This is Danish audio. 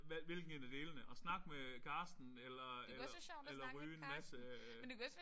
Hvad hvilken en af delene at snakke med Carsten eller eller eller ryge en masse